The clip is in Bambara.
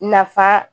Nafa